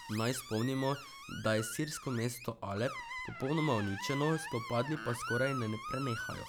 Naj spomnimo, da je sirsko mesto Alep popolnoma uničeno, spopadi pa skoraj ne prenehajo.